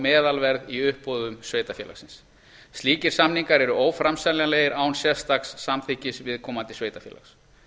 meðalverð í uppboðum sveitarfélagsins slíkir samningar eru óframseljanlegir án sérstaks samþykkis viðkomandi sveitarfélags